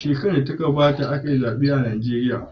Shekarar da ta gabata aka yi zaɓe a Najeriya.